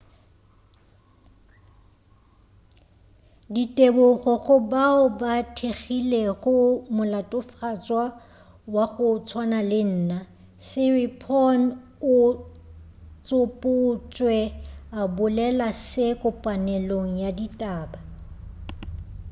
ditebogo go bao ba thekgilego molatofatšwa wa go tswana le nna siriporn o tsopotšwe a bolela se kopaneleong ya ditaba